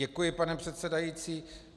Děkuji, pane předsedající.